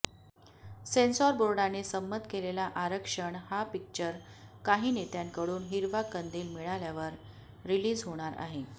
censor बोर्डाने संमत केलेला आरक्षण हा पिकचर काही नेत्यांकडून हिरवा कंदील मिळाल्यावर रिलीज होणार आहे